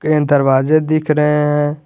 इसमें दरवाजे दिख रहे हैं।